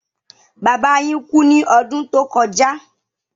Bàbà yín kú ní ọdún tó kọja